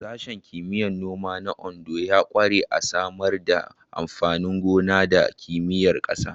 Sashen Kimiyyar Noma na Ondo ya ƙware a Samar da amfanin gona da Kimiyyar ƙasa.